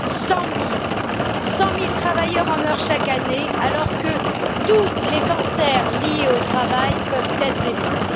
Cent mille travailleurs en meurent chaque année, alors que tous les cancers liés au travail peuvent être évités.